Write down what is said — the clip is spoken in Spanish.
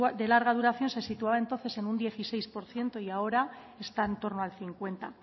de larga duración se situaba entonces en un dieciséis por ciento y ahora está en torno al cincuenta